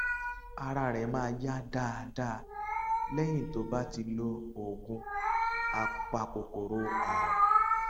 ara rẹ máa yá dáadáa lẹyìn tó bá ti lo oògùn apakòkòrò àrùn